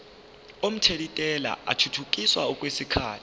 omthelintela athuthukiselwa kwesinye